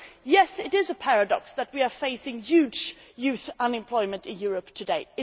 Yes, it is a paradox that we are facing huge youth unemployment in Europe today.